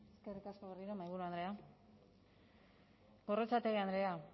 eskerrik asko berriro mahaiburu andrea gorrotxategi andrea